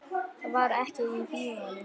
Það var heitt í bíóinu.